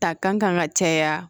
Ta kan ka caya